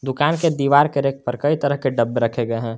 दुकान के दीवार के रैक पर कई तरह के डब्बे रखे गए हैं।